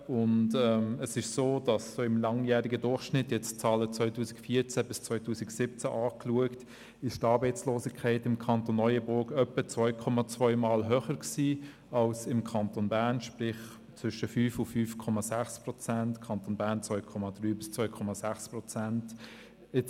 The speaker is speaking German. Ich habe die Zahlen 2014–2017 angeschaut, und es ist so, dass die Arbeitslosigkeit im Kanton Neuenburg im langjährigen Durchschnitt etwa 2,2-mal höher ist als im Kanton Bern, sprich zwischen 5,0 und 5,6 Prozent, Kanton Bern zwischen 2,3 und 2,6 Prozent.